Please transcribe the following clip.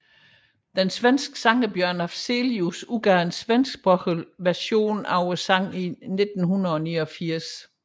Den svenske sanger Björn Afzelius udgav en svensksproget version af sanggen i 1989